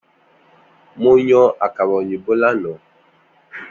Mo yan akara oyinbo lana.